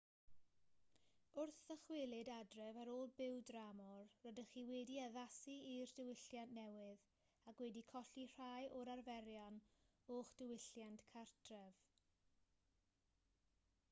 wrth ddychwelyd adref ar ôl byw dramor rydych chi wedi addasu i'r diwylliant newydd ac wedi colli rhai o'r arferion o'ch diwylliant cartref